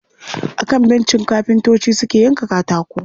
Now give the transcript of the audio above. A kan bencin kafintocin suke yanka katako.